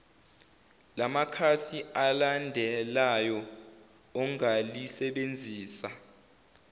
lamakhasi alandelayo ongalisebenzisa